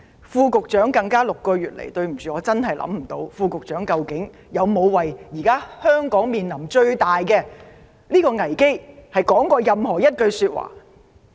副局長——抱歉，我想不起他們在過去6個月就香港當前面臨的最大危機有說過一句話。